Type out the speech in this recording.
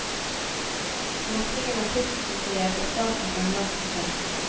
Åpningen av kunstmuseet ble starten på en lang prosess.